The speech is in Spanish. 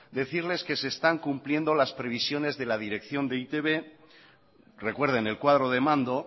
decirles que se están cumpliendo las previsiones de la dirección de e i te be recuerden el cuadro de mando